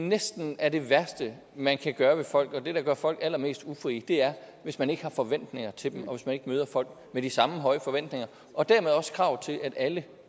næsten er det værste man kan gøre ved folk det der gør folk allermest ufrie er hvis man ikke har forventninger til dem og hvis man ikke møder folk med de samme høje forventninger og dermed også krav til at alle